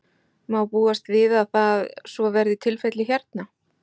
Má búast við að það, svo verði tilfellið hérna?